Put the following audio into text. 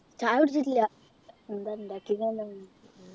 ചായ കുടിച്ചില്ല എന്താ ഉണ്ടാക്കിയെ ന്ന